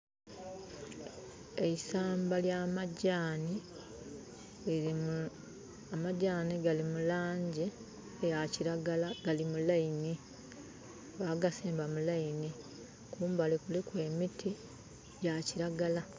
Eisamba lya majani. Amajani gali mulangi ya kiragala. Gali mu laini, bagasimba mu laini. Kumbali kuliku emiti gya kiragala